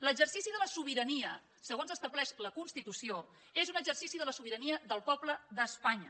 l’exercici de la sobirania segons estableix la constitució és un exercici de la sobirania del poble d’espanya